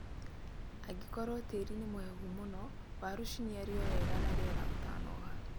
Angĩkorwo tĩri nĩ mũhehu mũno, waru ciniario wega na rĩera ũtanoha